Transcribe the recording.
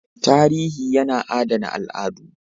Tarihi yana adana al'adu